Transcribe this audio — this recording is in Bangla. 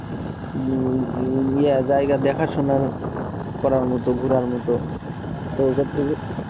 উম উম ইয়া জায়গা দেখা শোনার করার মতো ঘুরার মত তো কছছে যে